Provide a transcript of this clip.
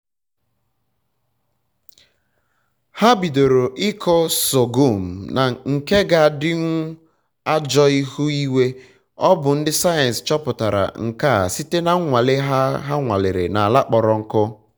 ha bidoro ịkọ sọgọm nke ga-edinwu ajọ ihu-igwe. ọ bụ ndị sayensị chọpụtara nke a site na nnwale ha ha nwalere na ala kpọrọ nkụ